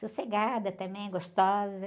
Sossegada também, gostosa.